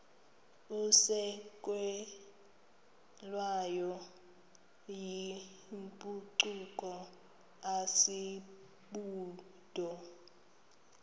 isukelwayo yimpucuko asibubo